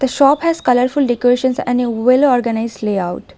The shop has colourful decorations and a well organised layout.